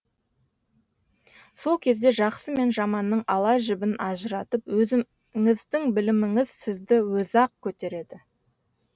сол кезде жаксы мен жаманның ала жібін ажыратып өзіңіздің біліміңіз сізді өзі ақ көтереді